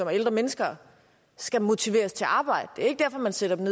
er ældre mennesker skal motiveres til at arbejde det er ikke derfor man sætter dem